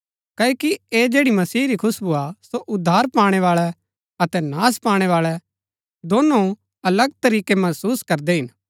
क्ओकि ऐह जैड़ी मसीह री खुशबु हा सो उद्धार पाणैवाळै अतै नाश भूणैवाळै दोनो अलग तरीकै महसुस करदै हिन